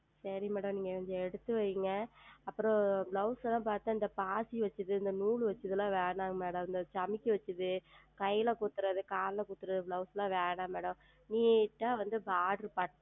சரி Madam எனக்கு நீங்கள் எடுத்து வையுங்கள் அப்புறம் Blouse எல்லாம் பார்த்தால் இந்த பாசி வைத்தது நூல் வைத்தது எல்லாம் வேண்டாம் Madam இந்த ஜமிக்கை வைத்தது கையில் குத்துவது காலில் குத்துவது Blouse ல வேண்டாம் MadamNeat ஆ